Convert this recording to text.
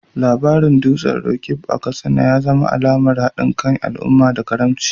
Labarin dutsen Roqeeb a Katsina ya zama alamar hadin kan al’umma da karamci.